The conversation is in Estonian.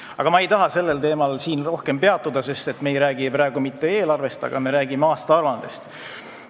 Aga ma ei taha sellel teemal siin rohkem peatuda, sest me ei räägi praegu mitte eelarvest, me räägime aastaaruandest.